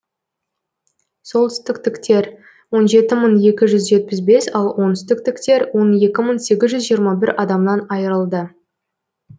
солтүстіктіктер он жеті мың екі жүз жетпіс бес ал оңтүстіктіктер он екі мың сегіз жүз жиырма бір адамнан айырылды